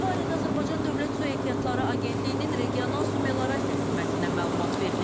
Bu barədə Azərbaycan Dövlət Su Ehtiyatları Agentliyinin regional su meliorasiya xidmətindən məlumat verilib.